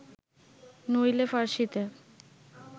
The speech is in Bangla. নইলে ফার্সীতে